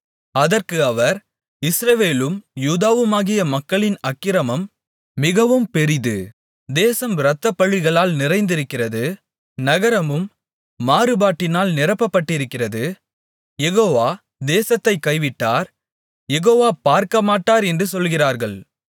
அதற்கு அவர் இஸ்ரவேலும் யூதாவுமாகிய மக்களின் அக்கிரமம் மிகவும் பெரிது தேசம் இரத்தப்பழிகளால் நிறைந்திருக்கிறது நகரமும் மாறுபாட்டினால் நிரப்பப்பட்டிருக்கிறது யெகோவா தேசத்தைக் கைவிட்டார் யெகோவா பார்க்கமாட்டார் என்று சொல்லுகிறார்கள்